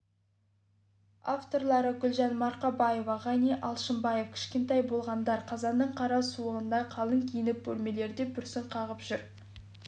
авторлары гүлжан марқабаева ғани алшымбаев кішкентай балғындар қазанның қара суығында қалың киініп бөлмелерде бүрсең қағып жүр